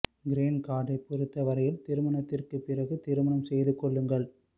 green கார்டைப் பொறுத்த வரையில் திருமணத்திற்குப் பிறகு திருமணம் செய்து கொள்ளுங்கள்